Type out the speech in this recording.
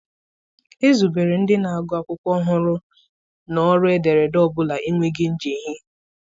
Ezubere ndị na-agụ akwụkwọ hụrụ na ọrụ ederede ọ bụla enweghị njehie.